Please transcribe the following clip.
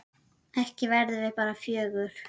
Ekki verðum við bara fjögur?